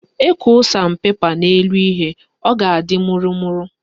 Ekwoo san pepa n'elu ihe, ọ ga-adị mụrụmụrụ